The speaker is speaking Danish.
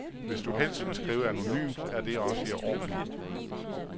Hvis du helst vil skrive anonymt, er det også i orden.